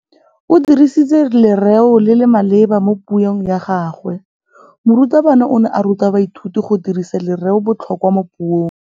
O dirisitse lerêo le le maleba mo puông ya gagwe. Morutabana o ne a ruta baithuti go dirisa lêrêôbotlhôkwa mo puong.